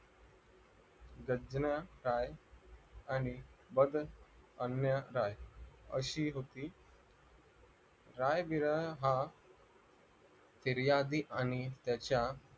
खदीया काय होती अशी होती रुकती राय-विरा हा फिर्यादी आणि त्याच्या